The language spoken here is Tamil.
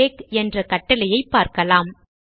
டெக்ஸ் என்ற கட்டளையை பார்க்கலாம்